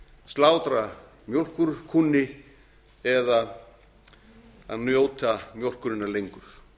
slátra mjólkurkúnni eða að njóta mjólkurinnar lengur